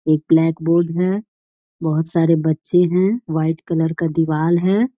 एक blackboard है बहोत सारे बच्चे हैं वाइट कलर का दीवाल है।